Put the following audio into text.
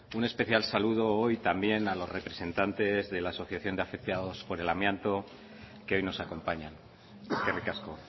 un especial saludo hoy también a los representantes de la asociación de afectados por el amianto que hoy nos acompañan eskerrik asko